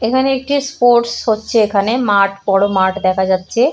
এখানে একটি স্পোর্টস হচ্ছে এখানে মাঠ বড় মাঠ দেখা যাচ্ছে ।